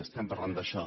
estem parlant d’això